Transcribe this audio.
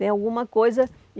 Tem alguma coisa.